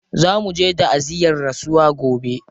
Za muje ta'aziyyar rasuwa gobe.